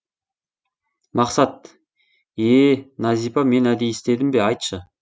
мақсат ее нәзипа мен әдейі істедім бе айтшы